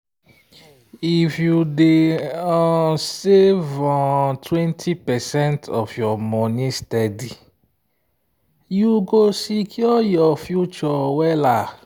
if you dey um save um 20 percent of your money steady you go secure your future well.